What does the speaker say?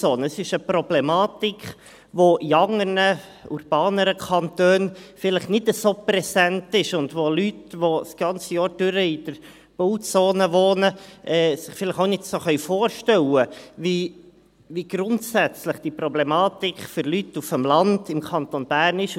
Es ist eine Problematik, die in anderen Kantonen vielleicht nicht so präsent ist und bei der sich Leute, die während des ganzen Jahres in der Bauzone wohnen, auch nicht so vorstellen können, wie grundsätzlich diese Problematik für Leute auf dem Land im Kanton Bern ist.